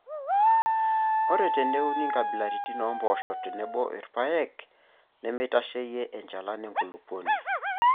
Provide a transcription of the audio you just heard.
Ore teineuni nkabilaritin oompoosho tenebo rpayek nemeitasheyie enchalan enkulupuoni.